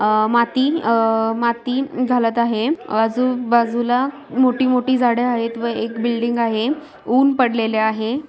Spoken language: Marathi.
अ माती अ माती घालत आहे आजु बाजूला मोठी मोठी झाड़े आहेत व एक बिल्डिंग आहे उन पडलेले आहे.